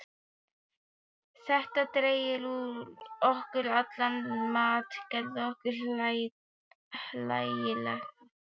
Þetta drægi úr okkur allan mátt, gerði okkur hlægilega.